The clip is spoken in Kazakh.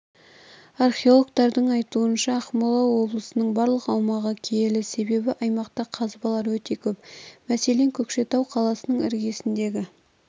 археологтардың айтуынша ақмола облысының барлық аумағы киелі себебі аймақта қазбалар өте көп мәселен көкшетау қаласының іргесіндегі